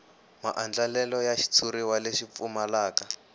maandlalelo ya xitshuriwa lexi pfumalaka